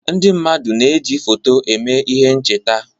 Ndị mmadụ na-eji foto eme ihe ncheta.